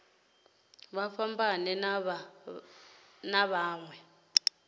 vha fhambane na vha mawe